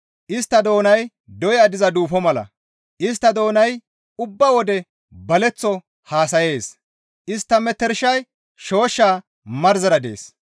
Istta doonay doya diza duufo mala; istta doonay ubba wode baleththo haasayees; istta metershay shooshsha marzera dees.